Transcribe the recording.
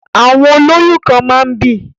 Àwọn olóyún kan máa ń bì